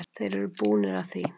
Þeir eru búnir að því.